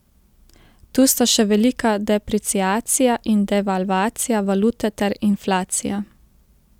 Tu sta še velika depreciacija ali devalvacija valute ter inflacija.